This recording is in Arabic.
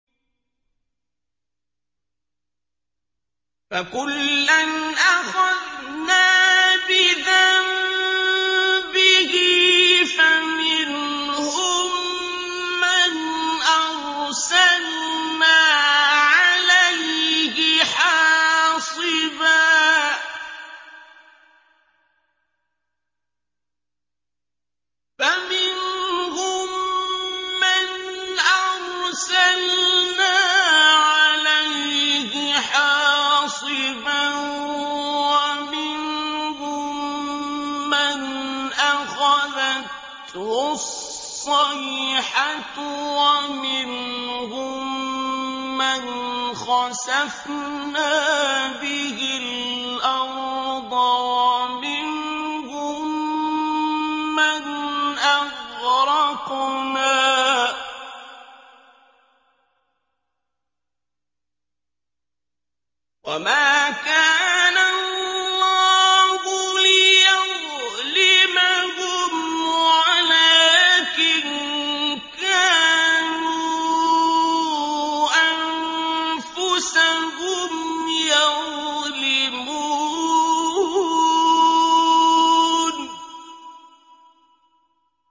فَكُلًّا أَخَذْنَا بِذَنبِهِ ۖ فَمِنْهُم مَّنْ أَرْسَلْنَا عَلَيْهِ حَاصِبًا وَمِنْهُم مَّنْ أَخَذَتْهُ الصَّيْحَةُ وَمِنْهُم مَّنْ خَسَفْنَا بِهِ الْأَرْضَ وَمِنْهُم مَّنْ أَغْرَقْنَا ۚ وَمَا كَانَ اللَّهُ لِيَظْلِمَهُمْ وَلَٰكِن كَانُوا أَنفُسَهُمْ يَظْلِمُونَ